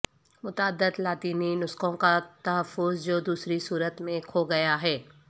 متعدد لاطینی نسخوں کا تحفظ جو دوسری صورت میں کھو گیا ہے